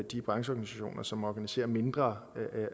de brancheorganisationer som organiserer mindre